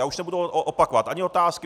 Já už nebudu opakovat ani otázky.